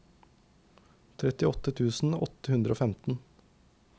trettiåtte tusen åtte hundre og femten